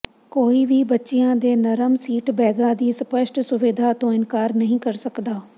ਕੋਈ ਵੀ ਬੱਚਿਆਂ ਦੇ ਨਰਮ ਸੀਟ ਬੈਗਾਂ ਦੀ ਸਪੱਸ਼ਟ ਸੁਵਿਧਾ ਤੋਂ ਇਨਕਾਰ ਨਹੀਂ ਕਰ ਸਕਦਾ